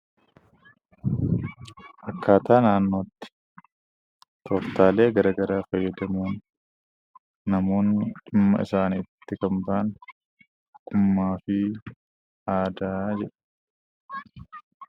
Akkaataa naannootti tooftaalee gara garaa fayyadamuun namoonni dhimma isaaniitti kan ba'an ogummaa fi aadaa jedhama.